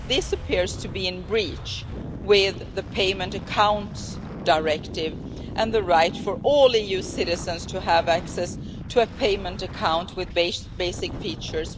This appears to be in breach of the Payment Accounts Directive and the right of all EU citizens to have access, without discrimination, to a payment account with basic features.